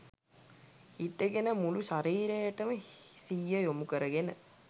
හිටගෙන මුළු ශරීරයටම සිහිය යොමු කරගෙන